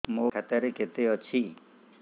ମୋ ଖାତା ରେ କେତେ ଅଛି